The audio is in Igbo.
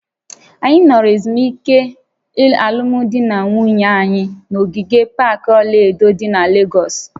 Anyị nọrọ ezumike alụmdi na nwunye anyị na ogige pak ọla edo dị na Legọsị